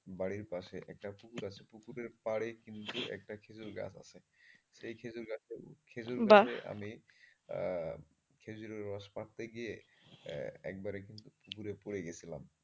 বাড়ির পাশে একটা পুকুর আছে পুকুরের পাড়ে কিন্তু একটা খেজুর গাছ আছে সেই খেজুর গাছে উঠে খেজুর গাছে আমি খেজুরের রস পাড়তে গিয়ে একবারে কিন্তু পুকুরে পড়ে গিয়েছিলাম।